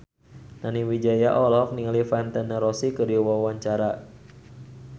Nani Wijaya olohok ningali Valentino Rossi keur diwawancara